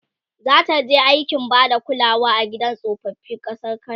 zataje aikin Bada kulawa a gidan tsofaffi ƙasar kanada?